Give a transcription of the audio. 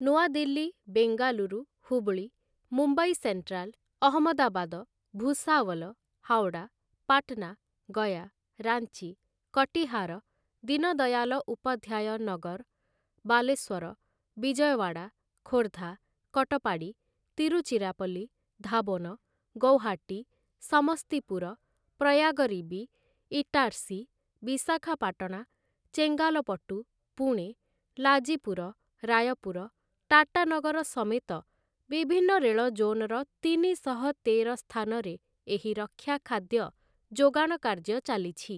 ନୂଆଦିଲ୍ଲୀ, Bengaluru, Hubballi, Mumbai central, Ahmedabad, Bhusawal, Howrah, Patna, Gaya, Ranchi, Katihar, Deen Dayal Upadhyay Nagar, Baleshwar, Vijayawada, Khordha, Katpadi, Tiruchirappalli, ଧାବୋନ, ଗୌହାଟୀ, ସମସ୍ତିପୁର, ପ୍ରୟାଗରୀବି, ଇଟାର୍ସି, ବିଶାଖାପାଟଣା, ଚେଙ୍ଗାଲପଟୁ, ପୁଣେ, ଲାଜିପୁର, ରାୟପୁର, ଟାଟାନଗର ସମେତ ବିଭିନ୍ନ ରେଳ ଜୋନ୍‌ର ତିନିଶହ ତେର ସ୍ଥାନରେ ଏହି ରକ୍ଷା ଖାଦ୍ୟ ଯୋଗାଣ କାର୍ଯ୍ୟ ଚାଲିଛି ।